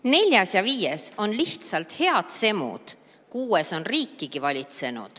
Neljas ja viies on lihtsalt head semud, kuues on riikigi valitsenud.